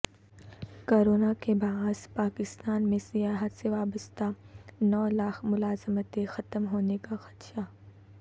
corona کے باعث پاکستان میں سیاحت سے وابستہ نو لاکھ ملازمتیں ختم ہونے کا خدشہ